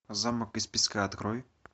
замок из песка открой